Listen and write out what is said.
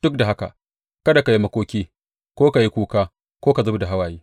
Duk da haka kada ka yi makoki ko ka yi kuka ko ka zub da hawaye.